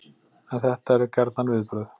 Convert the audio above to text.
En þetta eru gjarnan viðbrögð